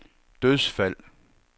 dødsfald